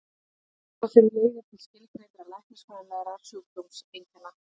Skortur á þeim leiðir til skilgreindra læknisfræðilegra sjúkdómseinkenna.